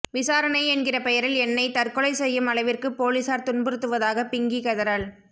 விசாரணை என்கிற பெயரில் என்னை தற்கொலை செய்யும் அளவிற்கு பொலிஸார் துன்புருத்துவதாக பிங்கி கதறல்